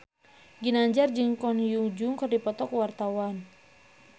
Ginanjar jeung Ko Hyun Jung keur dipoto ku wartawan